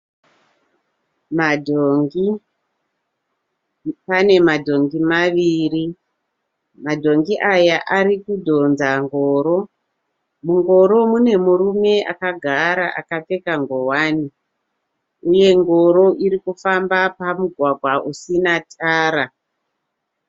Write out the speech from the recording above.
Madhongi pane madhongi maviri. Madhongi aya arikudhonza ngoro. Mungoro munemurume akagara akapfeka ngohwani uye ngoro irikufamba pamugwagwa usina tara.